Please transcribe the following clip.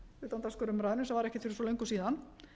utandagskrárumræðunni sem var ekkert fyrir svo löngu síðan